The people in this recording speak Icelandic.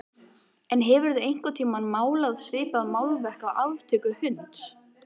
En hefurðu einhvern tíma málað svipað málverk af aftöku hunds?